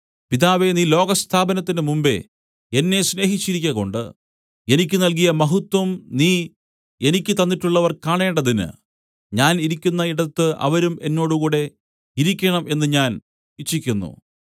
പിതാവേ നീ ലോകസ്ഥാപനത്തിന് മുമ്പെ എന്നെ സ്നേഹിച്ചരിക്കകൊണ്ട് എനിക്ക് നല്കിയ മഹത്വം നീ എനിക്ക് തന്നിട്ടുള്ളവർ കാണേണ്ടതിന് ഞാൻ ഇരിക്കുന്ന ഇടത്ത് അവരും എന്നോട് കൂടെ ഇരിക്കേണം എന്നു ഞാൻ ഇച്ഛിക്കുന്നു